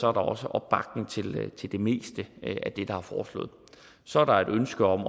er der også opbakning til til det meste af det der er foreslået så er der et ønske om